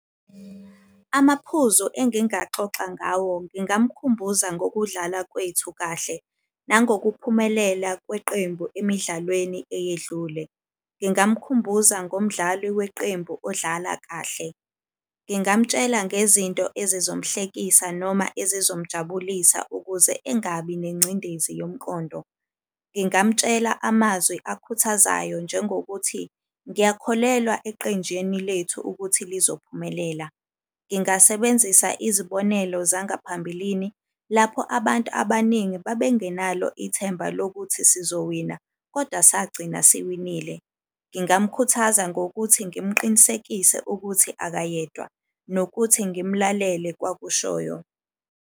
Amaphuzo engingaxoxa ngawo, ngingamkhumbuza ngokudlala kwethu kahle. Nangokuphumelela kweqembu emidlalweni eyedlule. Ngingamkhumbuza ngomdlali weqembu odlala kahle. Ngingamtshela ngezinto ezizomhlekisa noma ezizomjabulisa ukuze engabi nengcindezi yomqondo. Ngingamtshela amazwi akhuthazayo njengokuthi ngiyakholelwa eqenjini lethu ukuthi lizophumelela. Ngingasebenzisa izibonelo zangaphambilini lapho abantu abaningi babengenalo ithemba lokuthi sizowina koda sagcina siwenzile. Ngingamkhuthaza ngokuthi ngimuqinisekise ukuthi akayedwa, nokuthi ngimlalele kwakushoyo.